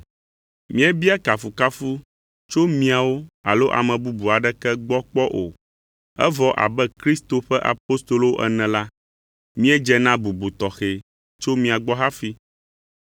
Míebia kafukafu tso miawo alo ame bubu aɖeke gbɔ kpɔ o; evɔ abe Kristo ƒe apostolowo ene la, míedze na bubu tɔxɛ tso mia gbɔ hafi.